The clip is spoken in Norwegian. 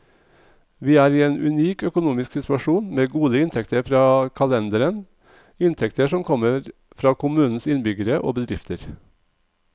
Vi er i en unik økonomisk situasjon, med gode inntekter fra kalenderen, inntekter som kommer fra kommunens innbyggere og bedrifter.